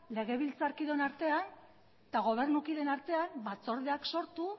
legebiltzarkideon artean eta gobernu kideen artean batzordeak sortu